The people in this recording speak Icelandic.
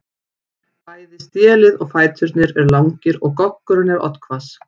Bæði stélið og fæturnir eru langir og goggurinn er oddhvass.